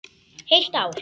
Heilt ár.